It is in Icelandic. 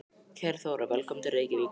Kæra Þóra. Velkomin til Reykjavíkur.